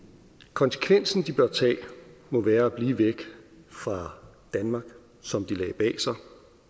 konsekvensen de bør tage må være at blive væk fra danmark som de lagde bag sig